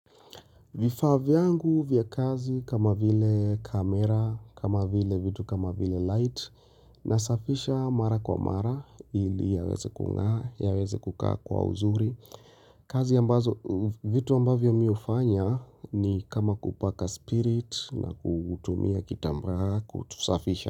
Vifaa vyangu vya kazi kama vile kamera, kama vile vitu kama vile light nasafisha mara kwa mara ili yaweze kukaa kwa uzuri. Kazi ambazo vitu ambavyo mimi hufanya ni kama kupaka spirit na kutumia kitamba kutusafisha.